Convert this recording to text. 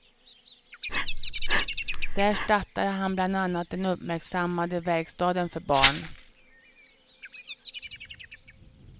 Där startade han bland annat den uppmärksammade verkstaden för barn.